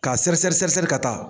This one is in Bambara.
Ka seri seri seri ka taa